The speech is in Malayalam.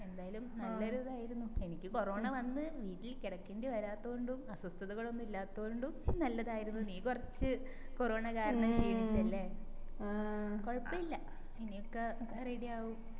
എന്തായാലും നല്ലൊരു ഇതായിരുന്നു എനിക്ക് കൊറോണ വന്ന് വീട്ടില് കിടക്കേണ്ടി വരാതൊണ്ടും അസ്വസ്ഥകളൊന്നും ഇല്ലാതൊണ്ടും നല്ലതായിരുന്നു നീ കൊറച്ച് കൊറോണ കാരണം ക്ഷീണിചല്ലേ കൊഴപ്പുല്ല ഇനിയൊക്കെ ready ആവും